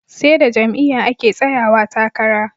Seda jam'iya ake tsayawa takara